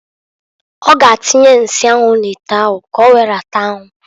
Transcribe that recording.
Ọ ga atinye nsi anwu n'ite ahu k'owere rata anwụ.